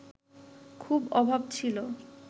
খুব অভাব ছিল